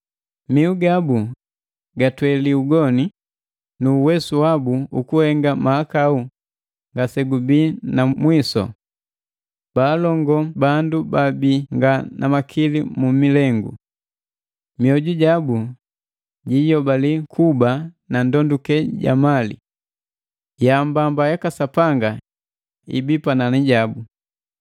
Mihu gabu gatweli ugoni nu uwesu wabu ukuhenga mahakau ngasegubii na mwisu. Baalongoo bandu baabii nga na makili mumilengu. Mioju jabu jiyobali kuba na ndokule ja mali. Yaambamba yaka Sapanga ibii panani jabu!